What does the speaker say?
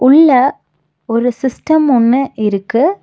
உள்ள ஒரு சிஸ்டம் ஒன்னு இருக்கு.